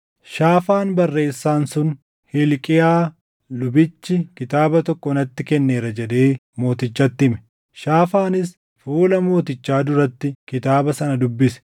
Shaafaan barreessaan sun, “Hilqiyaa lubichi kitaaba tokko natti kenneera” jedhee mootichatti hime. Shaafaanis fuula mootichaa duratti kitaaba sana dubbise.